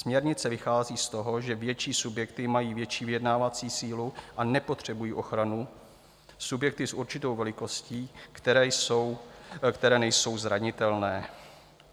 Směrnice vychází z toho, že větší subjekty mají větší vyjednávací sílu a nepotřebují ochranu, subjekty s určitou velikostí, které nejsou zranitelné.